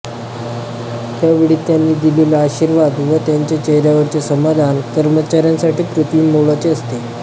त्यावेळी त्यांनी दिलेला आशीर्वाद व त्यांच्या चेहऱ्यावरचे समाधान कर्मचाऱ्यांसाठी पृथ्वीमोलाचे असते